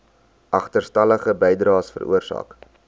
agterstallige bydraes veroorsaak